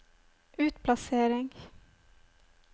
utplassering